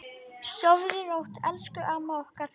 Sofðu rótt, elsku amma okkar.